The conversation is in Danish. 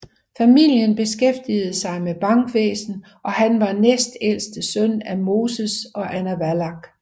Familien beskæftigede sig med bankvæsen og han var næstældste søn af Moses og Anna Wallach